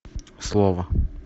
слово